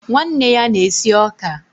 nwanne ya na-esi ọka.